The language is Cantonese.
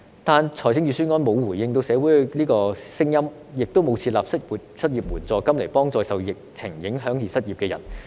可是，預算案沒有回應社會的聲音，也沒有設立失業援助金來幫助受疫情影響而失業的人。